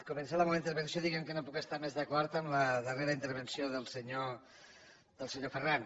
començaré la meua intervenció dient que no puc estar més d’acord amb la darrera intervenció del senyor ferran